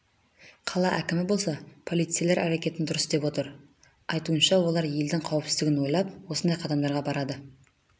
қала әкімі болса полицейлер әрекетін дұрыс деп отыр айтуынша олар елдің қауіпсіздгін ойлап осындай қадамдарға барады